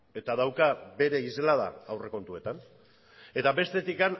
eta dauka bere islada aurrekontuetan eta bestetik